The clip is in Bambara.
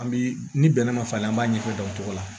An bi ni bɛnɛ ma falen an b'a ɲɛfɔ dɔncogo la